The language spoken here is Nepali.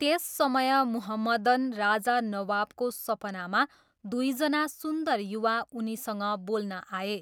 त्यस समय मुहम्मदन राजा नवाबको सपनामा दुईजना सुन्दर युवा उनीसँग बोल्न आए।